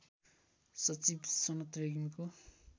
सचिव सनत रेग्मीको